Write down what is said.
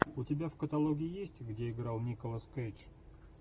у тебя в каталоге есть где играл николас кейдж